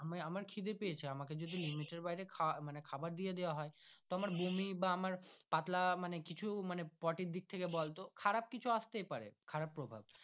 আমার আমার খিদে পায়েছে আমাকে যদি limit বাইরে খাওয়া মানে খাবার দিয়ে দেওয়া হয় তো আমার বমি আমরাপাতলা মানে কিছু মানে পটি দিক থাকে বলতো খারাপ কিছু আসতেই পারে খারাপ প্রভাব।